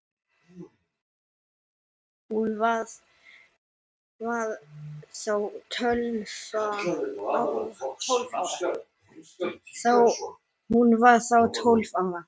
Hún var þá tólf ára.